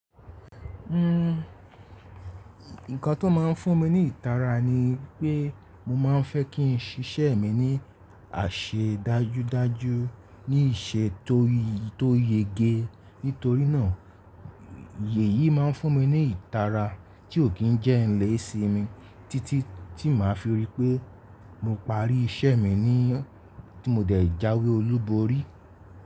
Nn, nǹkan tó máa ń fún mi ní ìtara ni pé mo máa ń fẹ́ kí n ṣiṣẹ́ mi ní àṣẹ dájúdájú, ní ìṣe tó yege. Nítorínà èyí máa ń fún mi ní ìtara tí ò kí n jẹ́ ilé sí mi títí tí màá fi rí i pé mo parí iṣẹ́ mi ní tí mo dẹ̀ jáwé olúborí.